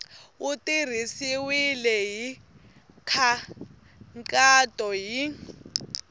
wu tirhisiwile hi nkhaqato hi